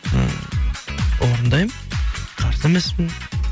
ы орындаймын қарсы емеспін